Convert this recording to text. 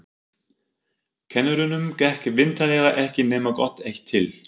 Kennurunum gekk vitanlega ekki nema gott eitt til.